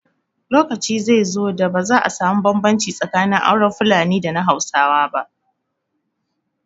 Lokaci zai zo da ba za a samu bambanci tsakanin auren Fulani da na Hausa ba